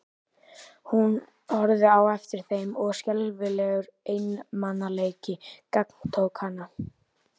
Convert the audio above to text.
Hún horfði á eftir þeim og skelfilegur einmanaleiki gagntók hana.